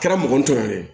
Kɛra mɔgɔ ntanya ye